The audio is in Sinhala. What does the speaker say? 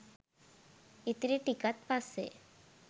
ඉතිරි ටිකත් පස්සේ